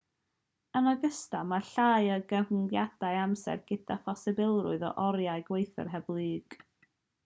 yn ogystal mae llai o gyfyngiadau amser gyda'r posibilrwydd o oriau gweithio hyblyg. bremer 1989